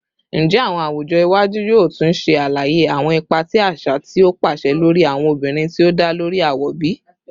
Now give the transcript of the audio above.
Njẹ awọn awujọ iwaju yoo tun ṣe alaye awọn ipa ti aṣa ti o paṣẹ lori awọn obinrin ti o da lori awọ bi?